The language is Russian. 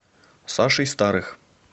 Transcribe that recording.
сашей старых